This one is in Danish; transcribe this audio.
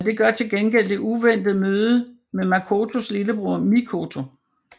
Men det gør til gengæld det uventede møde med Makotos lillebror Mikoto